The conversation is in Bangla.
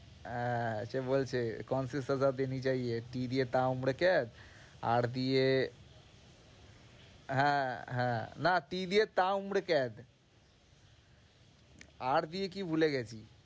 আহ সে বলছে R দিয়ে হ্যাঁ হ্যাঁ, না T দিয়ে R দিয়ে কি ভুলে গেছি।